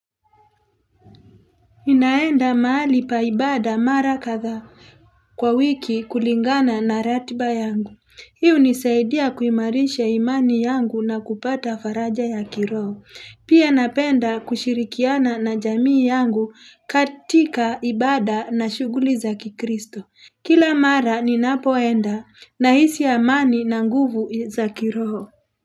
Ninaenda mahali pa ibada mara kadhaa kwa wiki kulingana na ratiba yangu. Hii hunisaidia kuimarisha imani yangu na kupata faraja ya kiroho. Pia napenda kushirikiana na jamii yangu katika ibada na shughuli za kikristo. Kila mara ninapoenda nahisi amani na nguvu za kiroho.